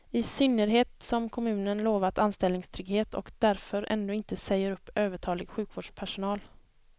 I synnerhet som kommunen lovat anställningstrygghet och därför ändå inte säger upp övertalig sjukvårdspersonal.